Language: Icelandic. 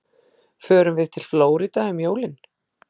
Förum við til Flórída um jólin?